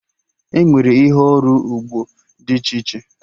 Enwere ihe ọrụ ugbo dị iche iche